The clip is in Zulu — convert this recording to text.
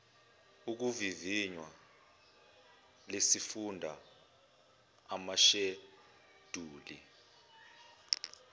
okuvivinya lwesifunda amasheduli